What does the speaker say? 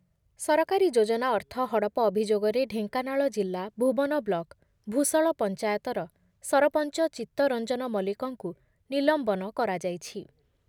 ସରକାରୀ ଯୋଜନା ଅର୍ଥ ହଡପ ଅଭିଯୋଗରେ ଢେଙ୍କାନାଳ ଜିଲ୍ଲା ଭୁବନ ବ୍ଲକ ଭୂଷଳ ପଞ୍ଚାୟତର ସରପଞ୍ଚ ଚିତ୍ତ ରଞ୍ଜନ ମଲ୍ଲିକଙ୍କୁ ନିଲମ୍ବନ କରାଯାଇଛି।